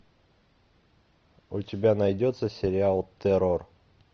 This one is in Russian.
у тебя найдется сериал террор